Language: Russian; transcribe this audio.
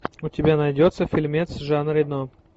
у тебя найдется фильмец с жан рено